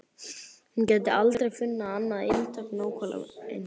Hún gæti aldrei fundið annað eintak nákvæmlega eins.